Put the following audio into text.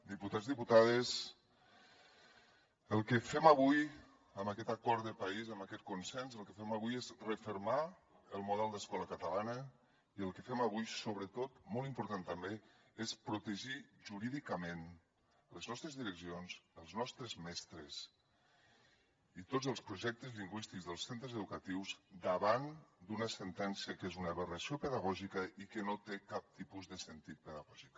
diputats diputades el que fem avui amb aquest acord de país amb aquest consens és refermar el model d’escola catalana i el que fem avui sobretot molt important també és protegir jurídicament les nostres direccions els nostres mestres i tots els projectes lingüístics dels centres educatius davant d’una sentència que és una aberració pedagògica i que no té cap tipus de sentit pedagògic